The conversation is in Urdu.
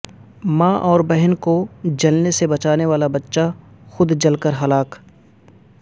ماں اوربہن کو جلنے سے بچانے والا بچہ خود جل کر ہلاک